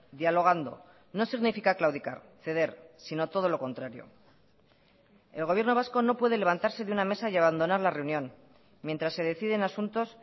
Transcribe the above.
dialogando no significa claudicar ceder sino todo lo contrario el gobierno vasco no puede levantarse de una mesa y abandonar la reunión mientras se deciden asuntos